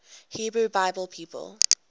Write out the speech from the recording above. hebrew bible people